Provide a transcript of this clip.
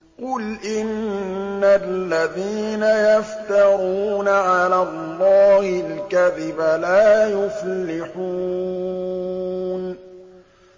قُلْ إِنَّ الَّذِينَ يَفْتَرُونَ عَلَى اللَّهِ الْكَذِبَ لَا يُفْلِحُونَ